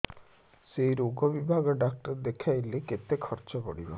ସେଇ ରୋଗ ବିଭାଗ ଡ଼ାକ୍ତର ଦେଖେଇଲେ କେତେ ଖର୍ଚ୍ଚ ପଡିବ